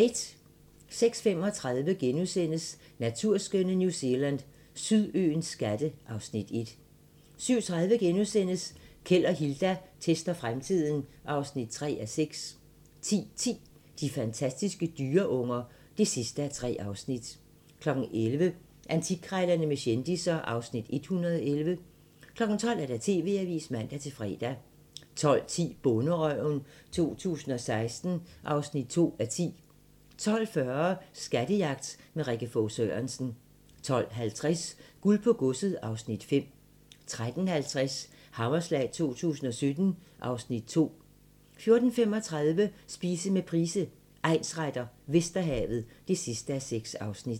06:35: Naturskønne New Zealand: Sydøens skatte (Afs. 1)* 07:30: Keld og Hilda tester fremtiden (3:6)* 10:10: De fantastiske dyreunger (3:3) 11:00: Antikkrejlerne med kendisser (Afs. 111) 12:00: TV-avisen (man-fre) 12:10: Bonderøven 2016 (2:10) 12:40: Skattejagt med Rikke Fog Sørensen 12:50: Guld på godset (Afs. 5) 13:50: Hammerslag 2017 (Afs. 2) 14:35: Spise med Price, egnsretter: Vesterhavet (6:6)